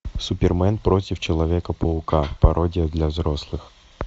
супермен против человека паука пародия для взрослых